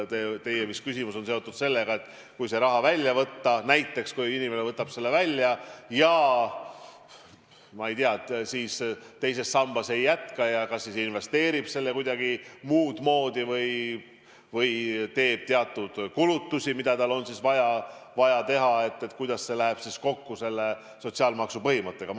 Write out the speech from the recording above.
Teie küsimus on seotud sellega, et kui see raha välja võtta, kui inimene võtab selle välja ja teises sambas ei jätka ja kas investeerib selle kuidagi muudmoodi või teeb teatud kulutusi, mida tal on vaja teha, et kuidas see läheb siis kokku sotsiaalmaksu põhimõttega.